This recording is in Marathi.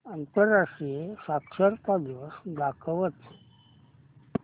आंतरराष्ट्रीय साक्षरता दिवस दाखवच